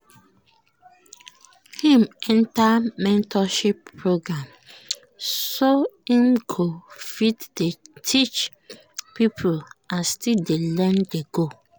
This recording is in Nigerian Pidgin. im enter mentorship program so im go fit dey teach people and still dey learn dey go